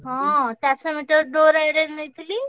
ହଁ ଚାରିସହ ମିଟର ଦୌଡ ରେ ନେଇଥିଲି।